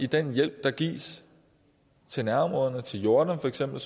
den hjælp der gives til nærområderne til jordan